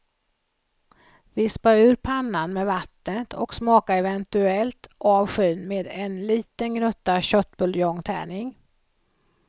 Vispa ur pannan med vattnet och smaka eventuellt av skyn med en liten gnutta köttbuljongtärning.